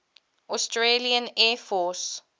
australian air force